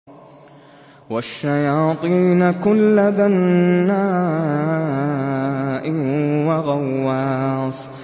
وَالشَّيَاطِينَ كُلَّ بَنَّاءٍ وَغَوَّاصٍ